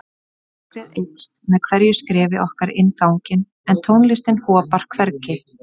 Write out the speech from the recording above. Myrkrið eykst með hverju skrefi okkar inn ganginn en tónlistin hopar hvergi.